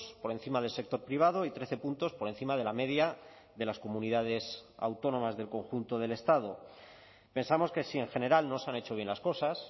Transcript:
por encima del sector privado y trece puntos por encima de la media de las comunidades autónomas del conjunto del estado pensamos que si en general no se han hecho bien las cosas